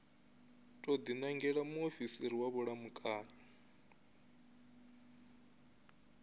tou dinangela muofisiri wa vhulamukanyi